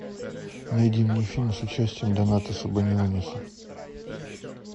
найди мне фильм с участием донатаса баниониса